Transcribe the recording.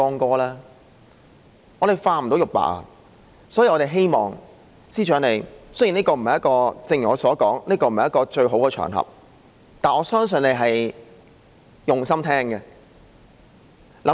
我們不能將之化成玉帛，所以，我們希望司長想想方法，雖然這並非一個最好的場合，但我相信他是用心聆聽的，好嗎？